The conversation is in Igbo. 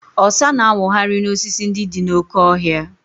Ọsa na-awụgharị n'osisi ndị dị n'oke ọhịa.